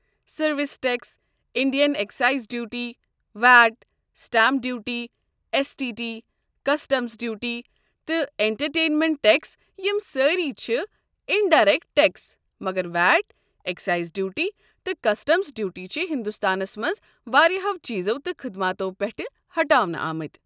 Service tax, Indian excise duty, VAT, stamp duty, S T T, customs duty, تہٕ entertainment tax, یم سٲری چھِ indirect tax مگر VAT, excise duty تہٕ customs duty چھِ ہندوستانس منٛز واریاہو چیٖزو تہٕ خدماتو پٮ۪ٹھٕ ہٹاونہٕ آمٕتۍ۔